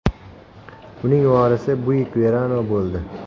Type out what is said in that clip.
Uning vorisi Buick Verano bo‘ldi.